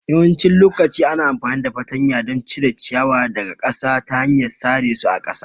Yawancin lokaci ana amfani da fartanya don cire ciyawa daga ƙasa ta hanyar sare su a ƙasa